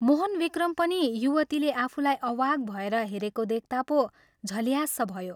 मोहनविक्रम पनि युवतीले आफूलाई अवाक् भएर हेरेको देख्ता पो झल्याँस्स भयो।